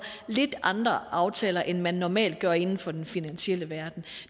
lidt andre aftaler end man normalt gør inden for den finansielle verden